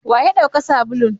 wa yadauka sabulun?